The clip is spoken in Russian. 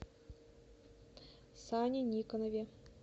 сане никонове